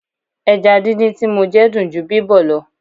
Ẹja díndín tí mo jẹ dùn ju bíbọ̀ lọ.